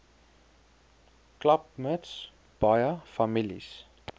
klapmuts baie families